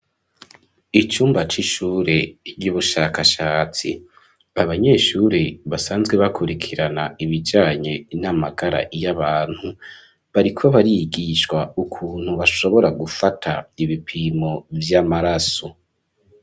Icumba c'ishure ry'ubushakashatsi, abanyeshure basanzwe bakurikirana ibijanye n'amagara y'abantu bariko barigishwa ukuntu bashobora gufata ibipimo vy'amaraso.